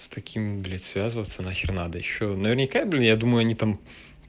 с такими блять связываться на хер надо ещё наверняка бля я думаю они там